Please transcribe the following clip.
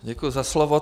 Děkuji za slovo.